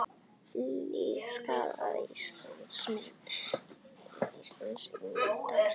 Lillý: Skaðað Ísland, ímynd Íslands?